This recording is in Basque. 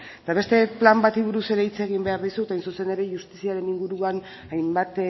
eta beste plan bati buruz ere hitz egin behar dizut hain zuzen ere justiziaren inguruan hainbat